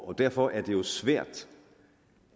derfor er det jo svært